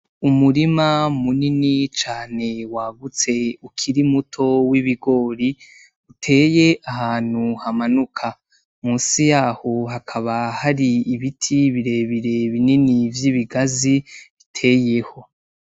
Umurima munini cane w'agutse ukiri muto w'ibigori uteye ahantu hamanuka, munsi yaho hakaba hari ibiti birebire binini vy'ibigazi biteyeho.